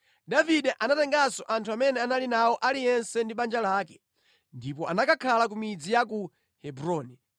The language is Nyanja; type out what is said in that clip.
Davide anatenganso anthu amene anali nawo aliyense ndi banja lake, ndipo anakakhala ku midzi ya ku Hebroni.